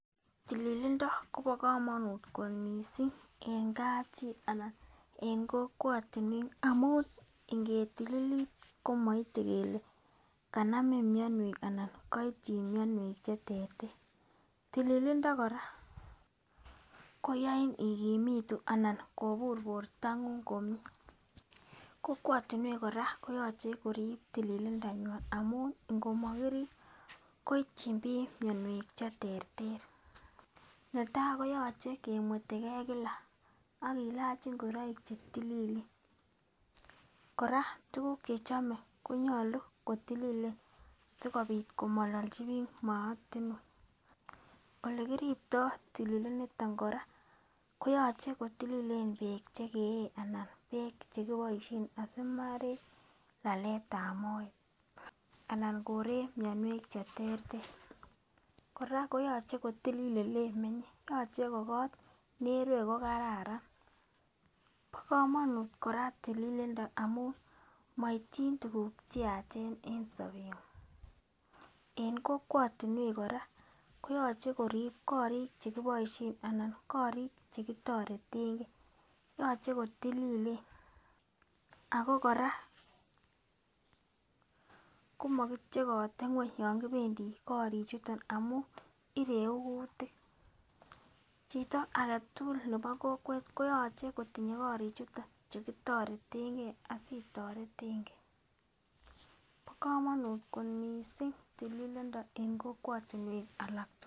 Tililindo Kobo komonut kot missing en kapchii anan en kokwotunwek amun ngetililit komoite kele kanamin mionwek anan koityin mionwek cheterter. Tililindo Koraa koyoin ikimitu ana kobur bortangu komie, kokwetunwek koraa ko yoche korulib tililindanywan amun ngo mokiribe koityi bik mionwek cheterter, netai koyoche kemwetegee kila ak kilach ingoroik chetililen. Koraa tukuk chekiome konyolu kotililen sikopit komololchi bik mootinwek. Ole kiripto tililiniton Koraa koyoche kotililen beek chekeye anan beek chekiboishen asimoirek laletab moet anan koreku mionwek cheterter. Koraa koyoche kotilil oleimenye yoche ko kot nerue ko kararan, bo komonut koraa tililindo amun koityin tukuk cheyache en sobenguny en kokwotunwek Koraa koyoche korib korik chekiboishen anan korik chekitoretengee yoche kotililen ako Koraa komokityekote ngweny kopendii korik chuton amun ireku kutik. Chito agetukul nebo kokwet koyoche kotinye korik chuton chekitoretengee asitoretengee bo komonut kot missing tililindo en kokwotunwek alak tukul.